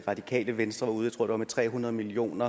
radikale venstre var ude med tror jeg tre hundrede million